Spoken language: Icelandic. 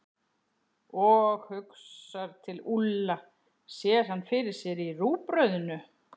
Og hugsar til Úlla, sér hann fyrir sér í rúgbrauðinu.